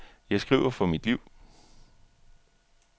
Jeg skriver for mit liv.